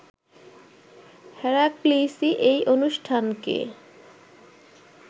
হেরাক্লিসই এই অনুষ্ঠানকে